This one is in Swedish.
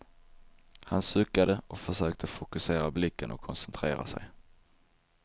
Han suckade och försökte fokusera blicken och koncentrera sig.